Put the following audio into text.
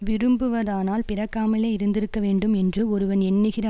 விரும்புவதானால் பிறக்காமலே இருந்திருக்கவேண்டும் என்று ஒருவன் எண்ணுகிற